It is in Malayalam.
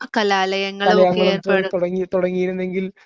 കലാലയങ്ങളും തുടങ്ങി തുടങ്ങിയിരുന്നെങ്കിൽ